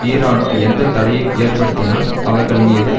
ஈரானோ எந்த தடையையும் ஏற்படுத்தினால் அவர்கள் மீது